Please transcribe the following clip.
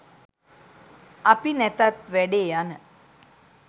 අපි නැතත් වැඩේ යන